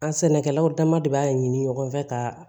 An sɛnɛkɛlaw dama de b'a ɲini ɲɔgɔn fɛ ka